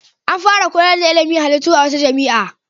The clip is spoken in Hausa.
An fara koyar da ilimin halittu a wata jami'a.